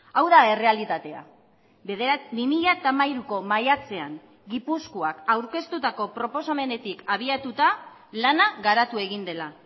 hau da errealitatea bi mila hamairuko maiatzean gipuzkoak aurkeztutako proposamenetik abiatuta lana garatu egin dela